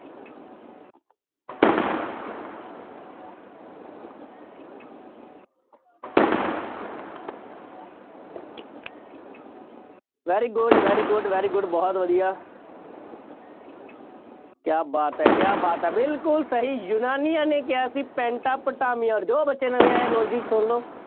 very good, very good, very good ਬਹੁਤ ਵਧੀਆ ਕਿਆ ਬਾਤ ਹੈ, ਕਿਆ ਬਾਤ ਹੈ, ਬਿਲਕੁੱਲ ਸਹੀ ਯੂਨਾਨੀਆਂ ਨੇ ਕਿਹਾ ਸੀ ਪੈਂਟਾਪਟਾਮੀਆ, ਜੋ ਬੱਚੇ ਨਵੇਂ ਆਏ ਆ, logic ਸੁਣ ਲਓ।